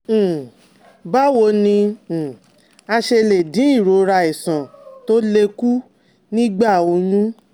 um Báwo ni um a ṣe lè dín ìrora iṣan tó le kù nígbà oyún?